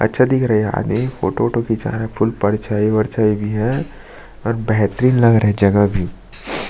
अच्छा दिख रहा है ये आगे फोटो वोटो खीचा रहा है फुल परछाई-वरछाई भी है और बेहतरिन लग रहा है जगह भी--